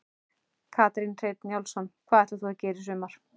Kjartan Hreinn Njálsson: Hvað ætlar þú að gera í sumar?